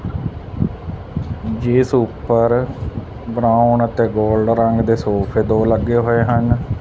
ਜਿੱਸ ਊਪਰ ਬਰਾਊਨ ਅਤੇ ਗੋਲ੍ਡ ਰੰਗ ਦੇ ਸੋਫ਼ੇ ਦੋ ਲੱਗੇ ਹੋਏ ਹਨ।